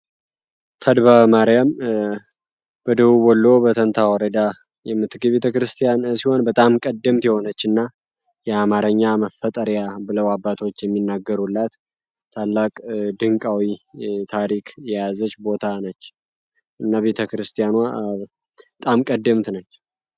ማርያም ቤተ ክርስቲያን በጣም ቀደምት የሆነች እና የአማረኛ መፈጠሪያ ብለው አባቶች የሚናገሩለት ታላቅ ድንቃ ታሪክ የያዘች ቦታ ነች እመቤተ ክርስቲያኗ ቀደምት ነች